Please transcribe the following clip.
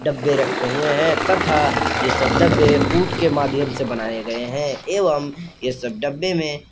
डब्बे रखे हुए हैं तथा ये सब डब्बे कूट के माध्यम से बनाए गए हैं एवं ये सब डब्बे में --